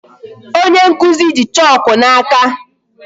Onye nkụzi ji chalk n'aka.